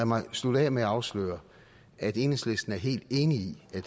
mig slutte af med at afsløre at enhedslisten er helt enig i at